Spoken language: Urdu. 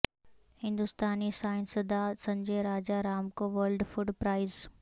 ہندوستانی سائنسداں سنجے راجہ رام کو ورلڈ فوڈ پرائز